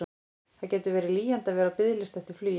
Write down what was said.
Það getur verið lýjandi að vera á biðlista eftir flugi.